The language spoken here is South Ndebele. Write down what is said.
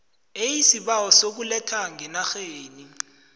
eisibawo sokuletha ngenarheni